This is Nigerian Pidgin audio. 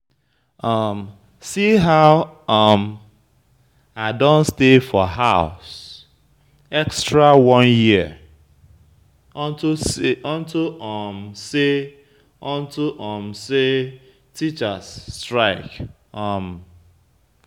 See how um I don stay for house extra one year unto um say unto um say teachers strike um.